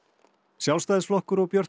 Sjálfstæðisflokkur og Björt